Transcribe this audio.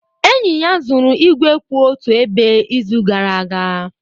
Enyi ya zuru igwe kwụ otu ebe izu gara aga